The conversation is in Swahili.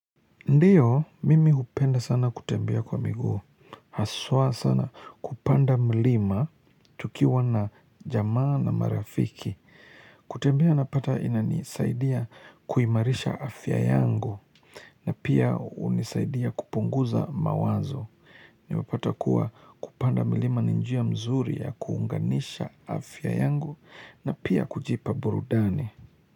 Ndiyo, mimi hupenda sana kutembea kwa miguu. Haswa sana kupanda mlima tukiwa na jamaa na marafiki. Kutembea napata inanisaidia kuimarisha afya yangu na pia hunisaidia kupunguza mawazo. Nimepata kuwa kupanda mlima ninjia mzuri ya kuunganisha afya yangu na pia kujipa burudani.